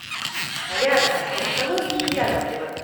рядом стоматологии яковлева